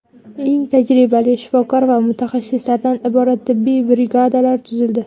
Eng tajribali shifokor va mutaxassislardan iborat tibbiy brigadalar tuzildi.